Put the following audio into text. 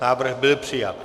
Návrh byl přijat.